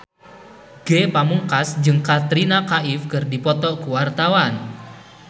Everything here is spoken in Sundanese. Ge Pamungkas jeung Katrina Kaif keur dipoto ku wartawan